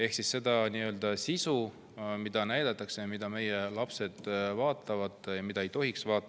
Ehk seal näidatakse, mida meie lapsed vaatavad, aga mida nad ei tohiks vaadata.